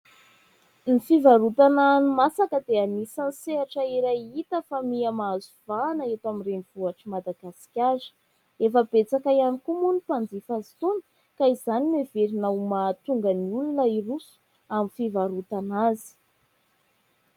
Ny fivarotana hani-masaka dia anisany sehatra iray hita fa miha-mahazo vahana eto amin'ny renivohitr'i Madagasikara. Efa betsaka ihany koa moa ny mpanjifa azy itony ka izany no heverina ho mahatonga ny olona hiroso amin'ny fivarotana azy.